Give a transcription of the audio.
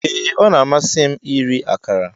Ee a na-amasị m iri akara.